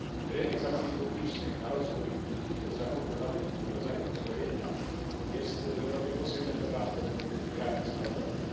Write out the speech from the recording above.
Rynek zamówień publicznych na rozwój i zakupy nowych rodzajów uzbrojenia jest w Europie posegmentowany według granic narodowych.